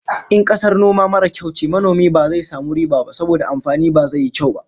In kasar noma mara kyau ce, manomin ba zai samu riba ba saboda amfani ba zai yi kyau ba